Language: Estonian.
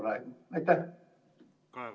Kaja Kallas, palun!